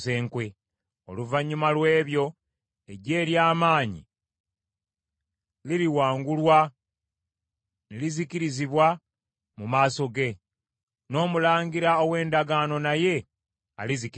Oluvannyuma lw’ebyo eggye ery’amaanyi liriwangulwa ne lizikirizibwa mu maaso ge; n’omulangira ow’endagaano naye alizikirizibwa.